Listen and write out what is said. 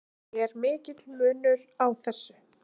Er mikill munur á þessu?